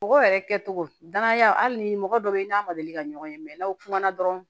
Bɔgɔ yɛrɛ kɛcogo danaya hali ni mɔgɔ dɔ bɛ n'a ma deli ka ɲɔgɔn ye mɛ n'aw kuma na dɔrɔn